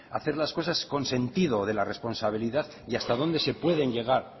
hacer las cosas con sentido de la responsabilidad y hasta dónde se puede llegar